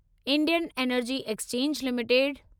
Indian energy exchange limited